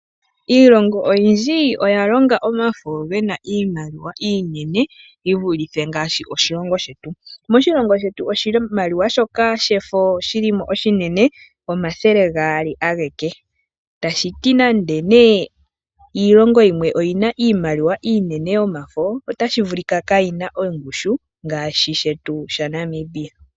Iilongo oyindji oya longa omafo gena iimaliwa iinene yi vulithe ngaashi omoshilongo shetu. Moshilongo shetu oshimaliwa shefo shili mo oshinene omathele gaali ashike tashiti nande iilongo yimwe oyina iimaliwa iinene yomafo otashi vulika kaayina ongushu ngaashi shetu shaNamibia.